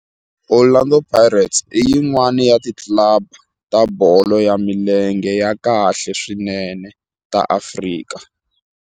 Orlando Pirates i yin'wana ya ti club ta bolo ya milenge ta khale swinene ta Afrika.